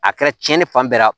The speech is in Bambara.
A kɛra cɛni fan bɛɛ la